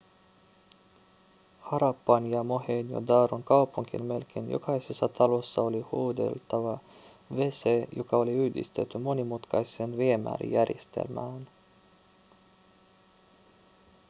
harappan ja mohenjo-daron kaupunkien melkein jokaisessa talossa oli huuhdeltava wc joka oli yhdistetty monimutkaiseen viemärijärjestelmään